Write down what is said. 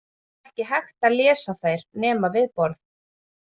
Það var ekki hægt að lesa þær nema við borð.